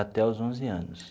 Até os onze anos.